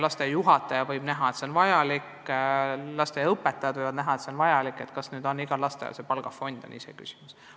Lasteaia juhataja võib arvata, et see on vajalik, lasteaia õpetajad võivad arvata, et see on vajalik, aga kas igal lasteaial peaks selleks palgafond olema, on iseküsimus.